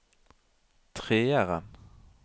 treeren